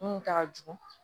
Mun ta ka jugu